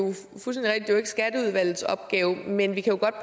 skatteudvalgets opgave men vi jo kan